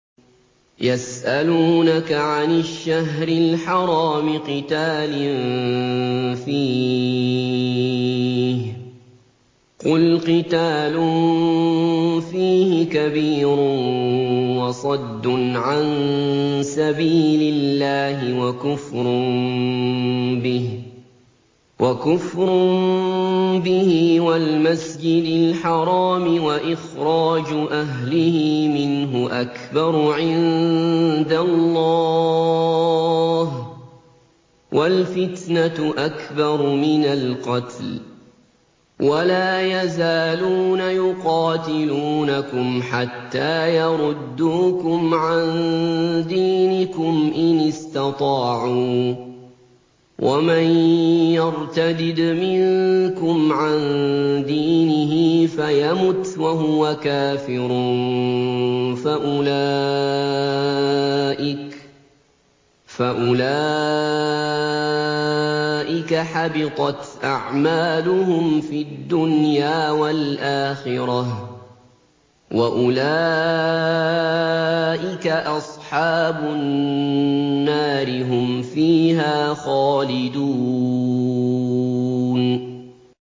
يَسْأَلُونَكَ عَنِ الشَّهْرِ الْحَرَامِ قِتَالٍ فِيهِ ۖ قُلْ قِتَالٌ فِيهِ كَبِيرٌ ۖ وَصَدٌّ عَن سَبِيلِ اللَّهِ وَكُفْرٌ بِهِ وَالْمَسْجِدِ الْحَرَامِ وَإِخْرَاجُ أَهْلِهِ مِنْهُ أَكْبَرُ عِندَ اللَّهِ ۚ وَالْفِتْنَةُ أَكْبَرُ مِنَ الْقَتْلِ ۗ وَلَا يَزَالُونَ يُقَاتِلُونَكُمْ حَتَّىٰ يَرُدُّوكُمْ عَن دِينِكُمْ إِنِ اسْتَطَاعُوا ۚ وَمَن يَرْتَدِدْ مِنكُمْ عَن دِينِهِ فَيَمُتْ وَهُوَ كَافِرٌ فَأُولَٰئِكَ حَبِطَتْ أَعْمَالُهُمْ فِي الدُّنْيَا وَالْآخِرَةِ ۖ وَأُولَٰئِكَ أَصْحَابُ النَّارِ ۖ هُمْ فِيهَا خَالِدُونَ